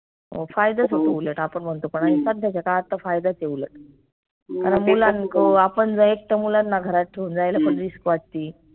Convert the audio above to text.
फायदाच होतो उलट आपन म्हनतो पन आनि सद्याच्या काळात त फायदाच आहे उलट आपन जर एकटं मुलांना घरात ठेऊन जायला त risk वाटती